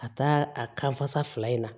A taa a kan fasa fila in na